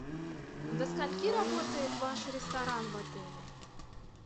до скольки работает ваш ресторан в отеле